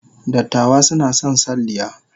Dattawa suna son salliya.